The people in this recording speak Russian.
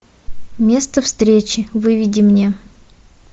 место встречи выведи мне